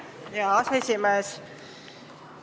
Aitäh, hea aseesimees!